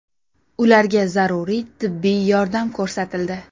Ularga zaruriy tibbiy yordam ko‘rsatildi.